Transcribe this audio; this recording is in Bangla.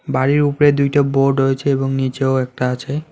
বাড়ির উপরে দুইটা বোর্ড রয়েছে এবং নীচেও একটা আছে।